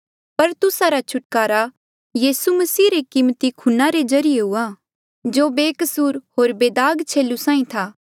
पर तुस्सा रा छुटकारा यीसू मसीह रे कीमती खूना रे ज्रीए हुआ जो बेकसूर होर बेदाग छेलू साहीं था